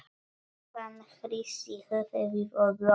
Hann hristi höfuðið og glotti.